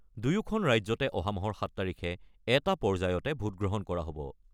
দুয়োখন ৰাজ্যতে অহা মাহৰ ৭ তাৰিখে এটা পৰ্যায়তে ভোটগ্ৰহণ কৰা হ'ব।